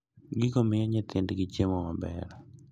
Gigo miyo nyithindgi chiemo maber.